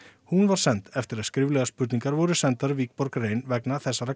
hún var send eftir að skriflegar spurningar voru sendar Wikborg rein vegna